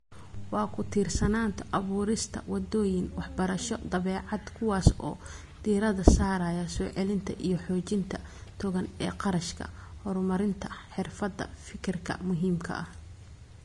Waa ku-tiirsanaanta abuurista wadooyin waxbarasho 'dabeecad', kuwaas oo diiradda saaraya soo celinta iyo xoojinta togan ee kharashka horumarinta xirfadaha fekerka muhiimka ah.